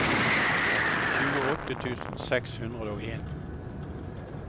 tjueåtte tusen seks hundre og en